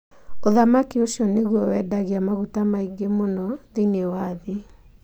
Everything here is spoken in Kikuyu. Ũthamaki ũcio nĩguo wendagia maguta maingĩ mũno thĩinĩ wa thĩ,